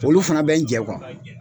Olu fana bɛ n jɛ